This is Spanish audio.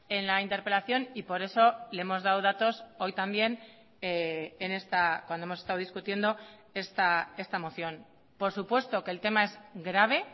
en la interpelación y por eso le hemos dado datos hoy también cuando hemos estado discutiendo esta moción por supuesto que el tema es grave